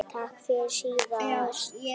Takk fyrir síðast?